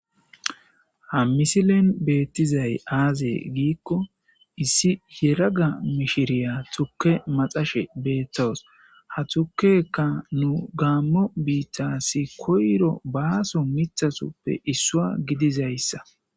Ha misilen beettizay aaze giikko issi heraga mishiriya tukke maxashe beeththowos ha tukeka nu gaammo biittassi koyro baaso mithasoppe issua gidizayssa